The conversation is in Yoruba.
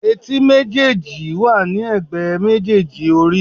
Etí méjèèjì wà ní ègbé méjèèjì orí.